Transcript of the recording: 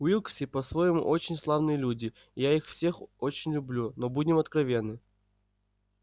уилксы по-своему очень славные люди и я их всех очень люблю но будем откровенны